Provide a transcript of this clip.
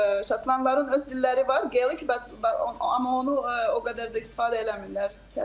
Şotlandların öz dilləri var, geylik, amma onu o qədər də istifadə eləmirlər, təəssüf ki.